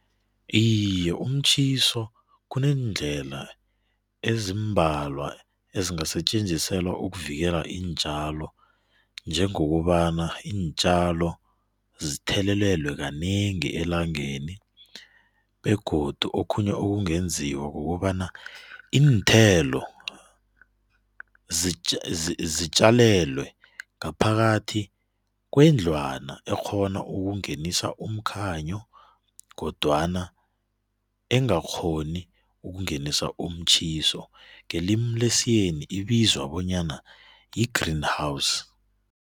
Iye, umtjhiso kuneendlela ezimbalwa ezingasetjenziselwa ukuvikela iintjalo njengokobana iintjalo zithelelelwe kanengi elangeni, begodu okhunye ekungenziwa kukobana iinthelo zitjalelwe ngaphakathi kwendlwana ekghona ukungenisa umkhanyo kodwana engakghoni ukungenisa umtjhiso, ngelimu lesiyeni ibizwa bona yi-green house.